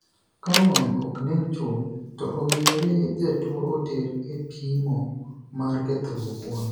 K wang' ok nen chuth ,to owinjore jatuo oter e pimo mar kethruok wang'.